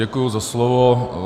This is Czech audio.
Děkuji za slovo.